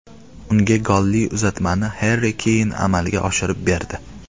Unga golli uzatmani Harri Keyn amalga oshirib berdi.